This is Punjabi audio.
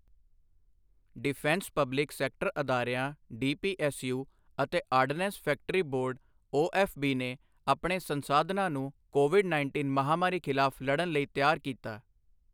ਡਿਫੈਂਸ ਪਬਲਿਕ ਸੈਕਟਰ ਅਦਾਰਿਆਂ ਡੀਪੀਐੱਸਯੂ ਅਤੇਆਰਡਨੈਂਸ ਫੈਕਟਰੀ ਬੋਰਡ ਓਐੱਫਬੀ ਨੇ ਆਪਣੇ ਸੰਸਾਧਨਾਂ ਨੂੰ ਕੋਵਿਡ ਉੱਨੀ ਮਹਾਮਾਰੀ ਖ਼ਿਲਾਫ਼ ਲੜਨ ਲਈ ਤਿਆਰ ਕੀਤਾ